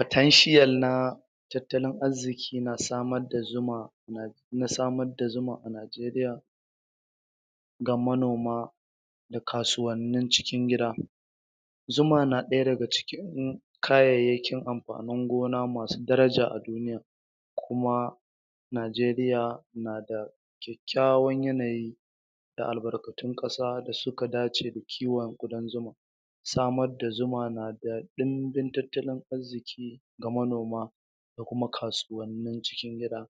Potential na tattalin arziƙi na samar da zuma na na samar da zuma a Najeriya ga manoma da kasuwannin cikin gida zuma na ɗaya daga cikin kayayyakin amfani gona masu daraja a duniya. kuma Najeriya na da kyakkyawan yanayi da albarkatun ƙasa da suka dace da kiwon ƙudan zuma samar da zuma na da ɗumbin tattalin arziƙi ga manoma da kuma kasuwannin cikin gida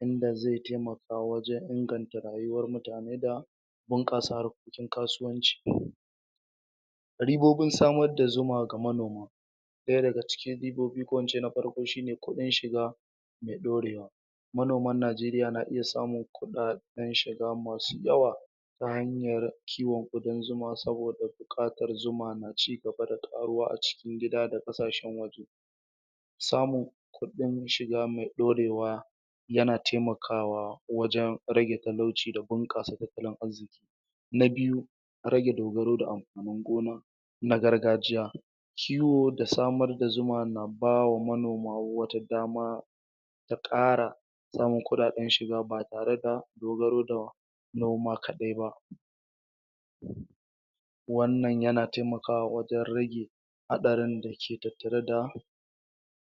wanda zai taimaka wajen inganta rayuwar mutane da buƙasa harkokin kasuwanci da ribobin samar da zuma ga manoma ɗaya daga cikin ikin shi ne kuɗin shiga da ɗorewa manoman Najeriya na iya samun kuɗaɗen shiga masu yawa ta hanyar kiwon ƙudan zuma saboda buƙatar zuma na ci gaba da ƙaruwa a cikin gida da ƙasashe samun kuɗin shiga mai ɗorewa yana taimakawa wjen rage talauci da bunƙasa tattalin arziƙi rage dogaro da amfanin gona na gargajiya kiwo da samar da zuma na ba wa manoma wata dama da ƙara samun kuɗaɗen shiga ba tare da noma kaɗai ba wannan yana taimaka wajen rage haɗarin da ke tattare da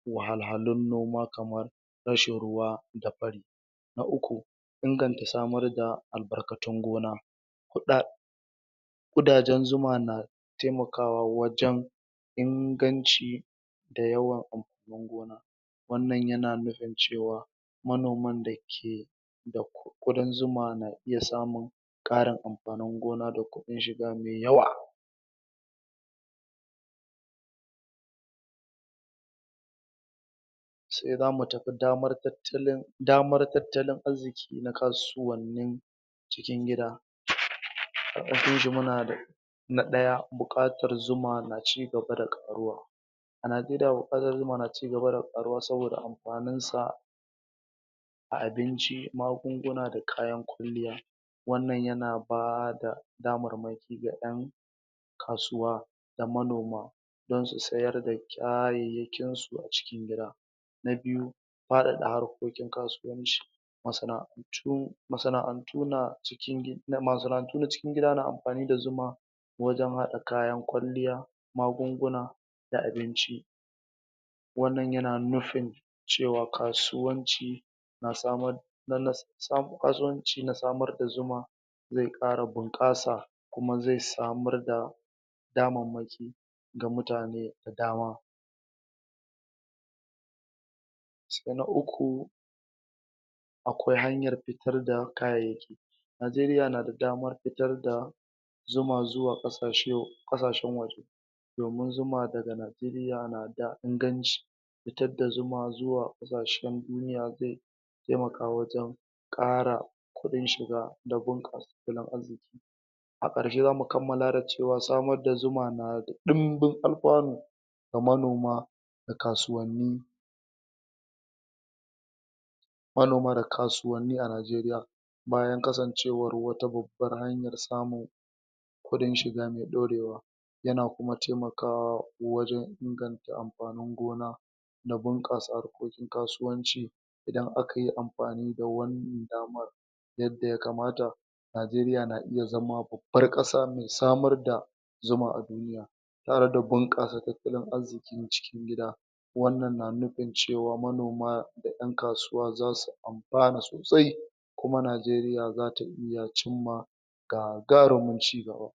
wahalhalun noma kamar rashin ruwa da fari na uku inganta samar da albarkatun gona kuɗa ƙudajen zuma na taimakawa wajen inganci da yawan wannan yana nufin cewa manoman da ke da ƙudan na iya samun ƙarin amfanin gona da kuɗin shiga mai yawa sai za mu tafin damar tattalili damar tattalin arziƙi na kasuwananin cikin gida muna da na ɗaya buƙatar zuma na ci gaba da ƙaruwa a Najeriya buƙatar zuma na ci gaba da ƙaruwa saboda amfaninsa a a binci magunguna da kayan kwalliya wannan na ba da damarmaki ga ƴan kasuwa da manoma don su siyar da kayayyakinsu a cikin gida na biyu faɗaɗa harkokin kasuwanci, masana'antu masana'antu tu na masana'antu na cikin gida na amfani da zuma wajen haɗa kayan kwalliya, magunguna da abinci wannan yana nufin cewa kasuwanci na samar da na sa kasuwanci na samar da zuma zai ƙara bunƙasa kuma zai samar da damammaki ga mutane da dama sai na uku akwai hanyar fitar da kayayyaki Najeriya na da damar fitar da zuma zuwa ƙasashe ƙasashen waje domin zuma daga Najeriya na da inganci fitarda zuma zuwa ƙasashen duniya zai taimaka wajen ara kuɗin shiga da bunasa tattalin arziƙi a ƙarshe zamu kammala da cewa samar da zuma na da ɗumbin alfanu ga manoma da kasuwanni manoma da kasuwanni a Najeriya kuɗin shiga mai ɗorewa yana kuma taimakawa wajen inganta amfanin gona da bunƙasa harkokin kasuwanci idan aka yi amfani da wannan damar yadda ya akmata Najeriya na iya zama babbar ƙasa mai samar da zuma a dun tare da bunƙasa tattalin arziƙin cikin gida wannan nafin cewa manoma da ƴan kasuwa za su amfana sosai kuma Najeriya za ta iya cimma gagarumin ci gaba.